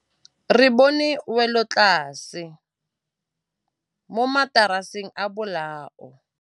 Re bone wêlôtlasê mo mataraseng a bolaô.